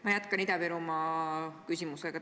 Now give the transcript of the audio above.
Ma jätkan Ida-Virumaa küsimusega.